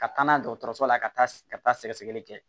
Ka taa n'a ye dɔgɔtɔrɔso la ka taa ka taa sɛgɛsɛgɛli kɛ